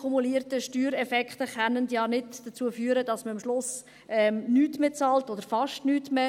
Alle kumulierten Steuereffekte können ja nicht dazu führen, dass man am Schluss nichts mehr bezahlt – oder fast nichts mehr.